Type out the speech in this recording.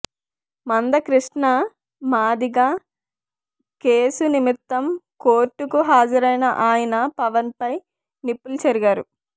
మందకృష్ణ మాదిగ కేసు నిమిత్తం కోర్టుకు హాజరైన ఆయన పవన్ పై నిప్పులు చెరిగారు